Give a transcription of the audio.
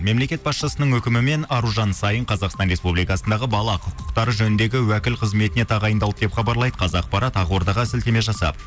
мемлекет басшысының үкімімен аружан саин қазақстан республикасындағы бала құқықтары жөніндегі уәкіл қызметіне тағайындалды деп хабарлайды қазақпарат ақордаға сілтеме жасап